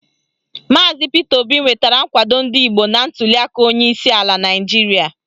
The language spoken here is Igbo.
Maazi Pita Obi nwetara nkwado ndị Igbo na ntuliaka onyeisi ala Naịjiria.